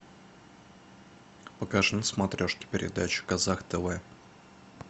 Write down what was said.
покажи на смотрешке передачу казах тв